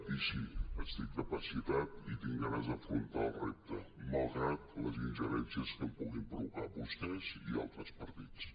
i sí estic capacitat i tinc ganes d’afrontar el repte malgrat les ingerències que em puguin provocar vostès i altres partits